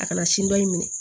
A kana sin dɔ in minɛ